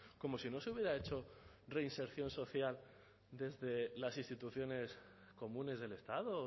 como si no se hubiera hecho reinserción social desde las instituciones comunes del estado